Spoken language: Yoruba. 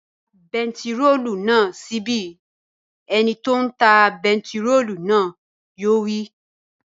Da bentiróòlù náà sí ibí! Ẹ ni tí ó ń ta bentiróòlù náà yóò wí